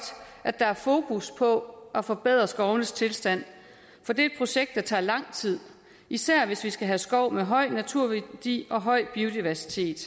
at der er fokus på at forbedre skovenes tilstand for det er et projekt der tager lang tid især hvis vi skal have skov med høj naturværdi og høj biodiversitet